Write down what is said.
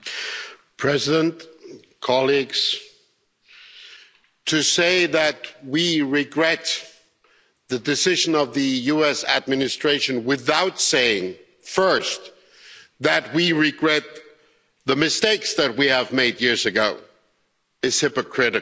Mr President, to say that we regret the decision of the US administration without saying first that we regret the mistakes that we made years ago is hypocritical.